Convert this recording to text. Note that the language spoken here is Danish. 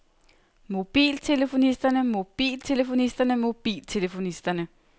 mobiltelefonisterne mobiltelefonisterne mobiltelefonisterne